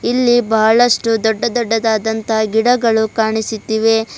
ಇಲ್ಲಿ ಬಹಳಷ್ಟು ದೊಡ್ಡ ದೊಡ್ಡದಾದಂತಹ ಗಿಡಗಳು ಕಾಣಿಸುತ್ತಿವೆ.